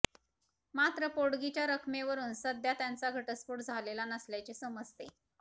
मात्र पोटगीच्या रकमेवरून सध्या त्यांचा घटस्फोट झालेला नसल्याचे समजते